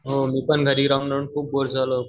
हो मी पण घरी राहून राहून खूप बोर झालो.